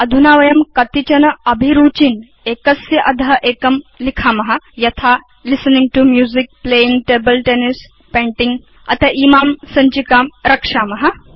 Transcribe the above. अधुना वयं कतिचन अभिरुचीन् एकस्य अध एकं लिखेम यथा listening to music playing table tennis painting अथ इमां सञ्चिकां रक्षेम